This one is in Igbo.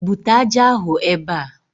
Bute ájá ahụ ebe a